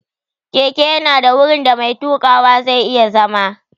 Keke ya na da wurin da mai tuƙawa zai iya zama